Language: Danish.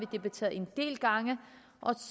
debatteret en del gange